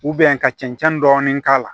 ka cɛncɛn dɔɔni k'a la